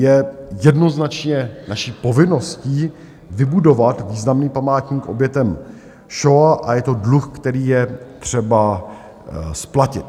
Je jednoznačně naší povinností vybudovat významný památník obětem šoa a je to dluh, který je třeba splatit.